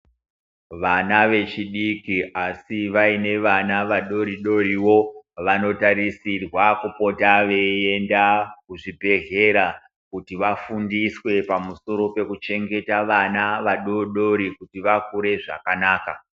Vana vechidiki asi vainewo vana vadodori vanotarisirwa kupota veienda kuchibhedhlera kuti vafundiswe pamusoro pekuchengeta vana vadodori kuti vakure zvakanaka.